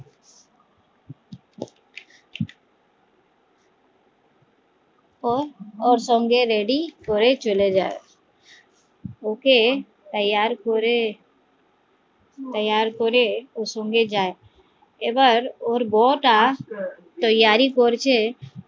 ও ওর সঙ্গে ready করে চলে যায় ওকে তৈয়ার করে ওকে তৈয়ার করে ওর সঙ্গে যায় এবার ওর বৌ টা তৈয়ারি করছে